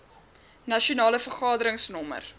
nasionale vergadering nr